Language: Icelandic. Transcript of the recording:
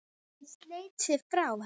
Hann sleit sig frá henni.